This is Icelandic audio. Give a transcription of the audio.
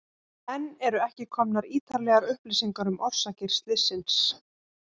Enn eru ekki komnar ítarlegar upplýsingar um orsakir slyssins.